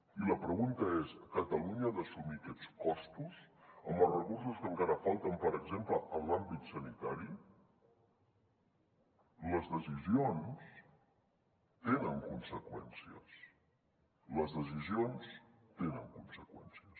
i la pregunta és catalunya ha d’assumir aquests costos amb els recursos que encara falten per exemple en l’àmbit sanitari les decisions tenen conseqüències les decisions tenen conseqüències